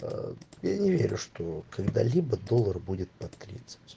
я не верю что когда-либо доллар будет под тридцать